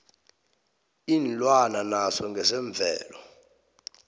iinlwana naso ngesemvelo